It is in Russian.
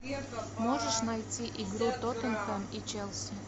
можешь найти игру тоттенхэм и челси